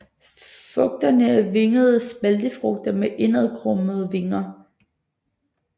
Frugterne er vingede spaltefrugter med indadkrummede vinger